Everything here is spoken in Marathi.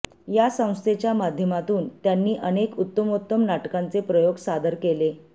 या संस्थेच्या माध्यमातून त्यांनी अनेक उत्तमोत्तम नाटकांचे प्रयोग सादर केले